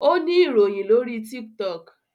o ni iroyin lori tiktok